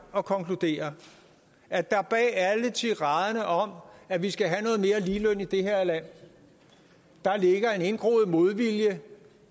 at konkludere at der bag alle tiraderne om at vi skal have noget mere ligeløn i det her land ligger en indgroet modvilje